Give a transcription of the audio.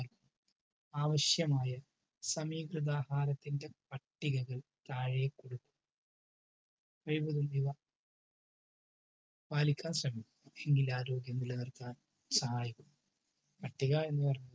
ആവശ്യമായ സമീകൃതാഹാരത്തിന്റെ പട്ടികകൾ താഴെ കൊടുക്കുന്നു. കഴിവതും ഇവ പാലിക്കാൻ ശ്രമിച്ചാൽ ഈ ആരോഗ്യം നിലനിൽക്കാൻ സഹായിക്കും.